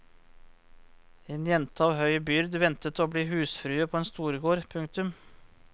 En jente av høy byrd ventet å bli husfrue på en storgård. punktum